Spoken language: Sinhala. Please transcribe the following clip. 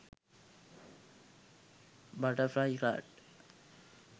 butterfly card